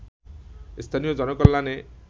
স্থানীয় জনকল্যাণে